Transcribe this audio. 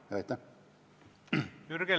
Jürgen Ligi, palun!